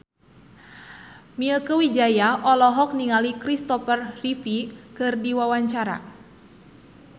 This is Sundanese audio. Mieke Wijaya olohok ningali Christopher Reeve keur diwawancara